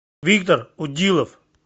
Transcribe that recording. виктор удилов